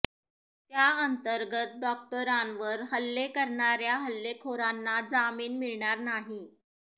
त्याअंतर्गत डॉक्टरांवर हल्ले करणाऱ्या हल्लेखोरांना जामीन मिळणार नाही